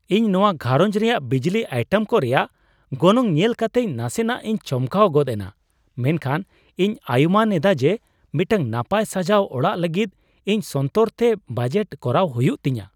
ᱤᱧ ᱱᱚᱶᱟ ᱜᱷᱟᱸᱨᱚᱡᱽ ᱨᱮᱭᱟᱜ ᱵᱤᱡᱽᱞᱤ ᱟᱭᱴᱮᱢ ᱠᱚ ᱨᱮᱭᱟᱜ ᱜᱚᱱᱚᱝ ᱧᱮᱞ ᱠᱟᱛᱮ ᱱᱟᱥᱮᱱᱟᱜ ᱤᱧ ᱪᱚᱢᱠᱟᱣ ᱜᱚᱫ ᱮᱱᱟ, ᱢᱮᱱᱠᱷᱟᱱ ᱤᱧ ᱟᱭᱩᱢᱟᱹᱱ ᱮᱫᱟ ᱡᱮ ᱢᱤᱫᱴᱟᱝ ᱱᱟᱯᱟᱭ ᱥᱟᱡᱟᱣ ᱚᱲᱟᱜ ᱞᱟᱹᱜᱤᱫ ᱤᱧ ᱥᱚᱱᱛᱚᱨ ᱛᱮ ᱵᱟᱡᱮᱴ ᱠᱚᱨᱟᱣ ᱦᱩᱭᱩᱜ ᱛᱤᱧᱟᱹ ᱾